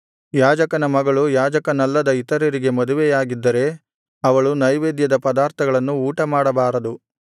ಯಾಜಕನ ಮಗಳು ಯಾಜಕನಲ್ಲದ ಇತರರಿಗೆ ಮದುವೆಯಾಗಿದ್ದರೆ ಅವಳು ನೈವೇದ್ಯದ ಪದಾರ್ಥಗಳನ್ನು ಊಟಮಾಡಬಾರದು